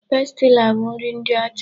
Pastila bụ nri ndị ọcha.